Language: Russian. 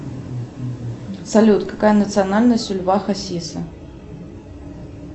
салют какая национальность у льва хасиса